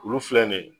Olu filɛ nin ye